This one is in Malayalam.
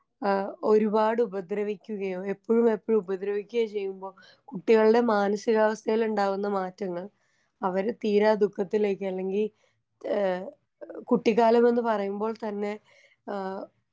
ഏ ഒരുപാടുപദ്രവിക്കുകയോ എപ്പഴും എപ്പഴും ഉപദ്രവിക്കുകയും ചെയ്യുമ്പൊ കുട്ടികളുടെ മനസ്സികാവസ്ഥയിലുണ്ടാകുന്ന മാറ്റങ്ങൾ അവര് തീരാ ദുഃഖത്തിലേക്ക് അല്ലെങ്കി ഏ ഏ കുട്ടിക്കാലമെന്ന് പറയുമ്പോൾ തന്നെ ആ.